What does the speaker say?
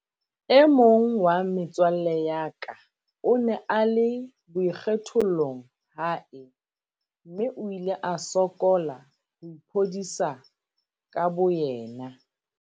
"E mong wa metswalle ya ka o ne a le boikgethollong hae mme o ile a sokola ho iphodisa ka bo yena."